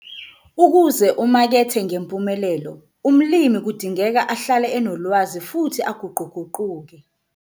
Ukuze umakethe ngempumelelo, umlimi kudingeka ahlale enolwazi futhi aguquguquke.